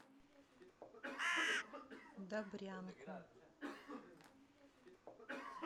добрянку